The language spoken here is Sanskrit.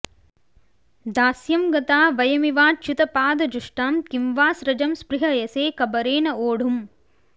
दास्यं गता वयमिवाच्युतपादजुष्टां किं वा स्रजं स्पृहयसे कबरेण वोढुम्